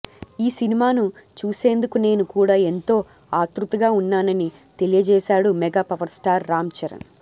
ఈ సినిమాను చూసేందుకు నేను కూడా ఏంతో ఆతృతగా ఉన్నానని తెలియజేసాడు mega power star Ram Charan